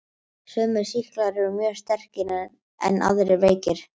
Sumir sýklar eru mjög sterkir en aðrir veikir.